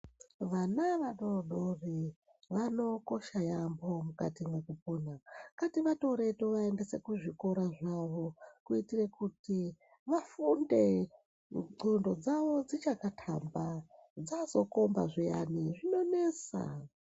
Vana vadodori vanokosha yaambo mukati mwekupona ngativatore tovaendesa kuzvikora zvavo kuitire kuti vafunde ndxondo dzavo dzichakathamba ,dzazokomba zviyani zvinonesa.